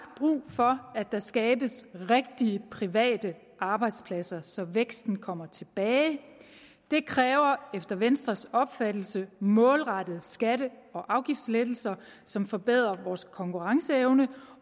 brug for at der skabes rigtige private arbejdspladser så væksten kommer tilbage det kræver efter venstres opfattelse målrettede skatte og afgiftslettelser som forbedrer vores konkurrenceevne